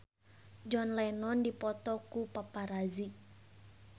John Lennon dipoto ku paparazi